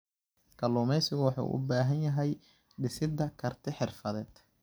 Kalluumeysigu wuxuu u baahan yahay dhisidda karti xirfadeed.